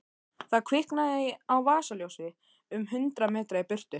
Það kviknaði á vasaljósi um hundrað metra í burtu.